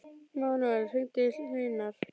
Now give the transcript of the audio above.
Manuel, hringdu í Hleinar.